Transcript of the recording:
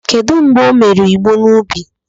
Kedu mgbe o mere igbo n'ubi?